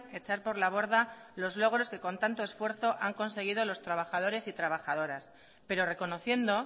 echar por la borda los logros que con tanto esfuerzo han conseguido los trabajadores y trabajadoras pero reconociendo